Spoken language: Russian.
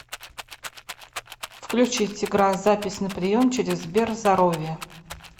включить игра запись на прием через сберзоровье